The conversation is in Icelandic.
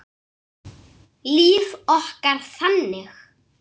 Líf okkar þannig?